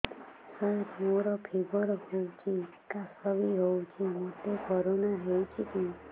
ସାର ମୋର ଫିବର ହଉଚି ଖାସ ବି ହଉଚି ମୋତେ କରୋନା ହେଇଚି କି